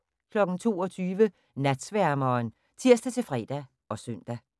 22:00: Natsværmeren (tir-fre og søn)